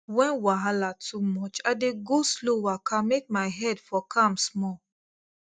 when wahala too much i dey go slow waka make my head for calm small